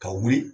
Ka wuli